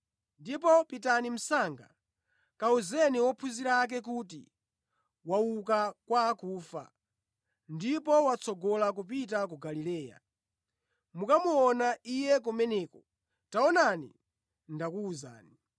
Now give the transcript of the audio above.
Ndipo pitani msanga kawuzeni ophunzira ake kuti, ‘Wauka kwa akufa ndipo watsogola kupita ku Galileya. Mukamuona Iye kumeneko.’ Taonani ndakuwuzani.”